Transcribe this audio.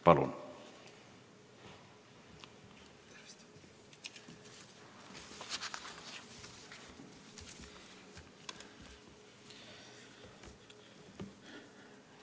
Palun!